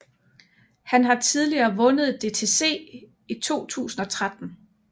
Han har tidligere vundet DTC i 2013